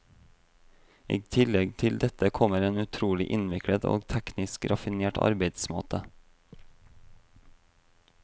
I tillegg til dette kommer en utrolig innviklet og teknisk raffinert arbeidsmåte.